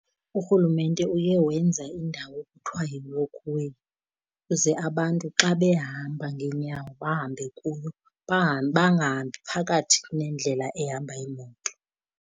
Urhulumente uye wenza indawo ekuthiwa yi-walk way uze abantu xa behamba ngeenyawo bahambe kuyo, bangahambi phakathi nendlela ehamba iimoto.